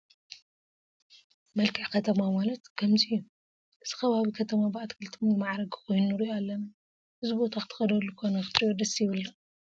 መልክዕ ከተማ ማለት ከምዚ እዩ፡፡ እዚ ከባቢ ከተማ ብኣትክልቲ ዝማዕረገ ኮይኑ ንሪኦ ኣለና፡፡ እዚ ቦታ ክትከደሉ ኮነ ክትሪኦ ደስ ይብል ዶ?